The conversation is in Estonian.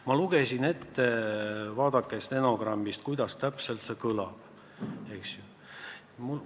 Ma lugesin teile ette, vaadake stenogrammist, kuidas see kõlas!